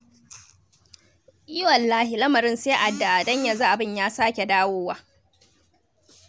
I wallahi! Lamarin sai addu'a don yanzu abin ya sake dawowa.